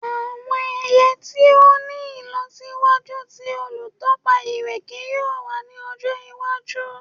Awọn ẹya ti o ni ilọsiwaju ti olutọpa ireke yoo wa ni ọjọ iwaju